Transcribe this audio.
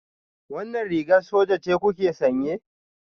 Wannan rigar soja ce kuke sanye?